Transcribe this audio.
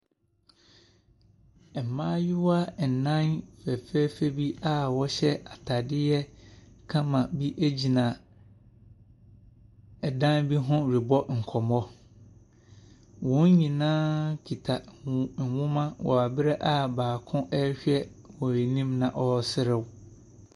Mmayewa nnan fɛfɛɛfɛ bi a wɔhyɛ atadeɛ kama bi gyina dan bi ho rebɔ nkɔmmɔ. Wɔn nyinaa kita nwoma wɔ berɛ a baako ɔrehwɛ wɔn anim na ɔreserew.